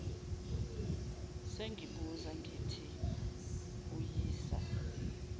sengibuza ngithi uyisa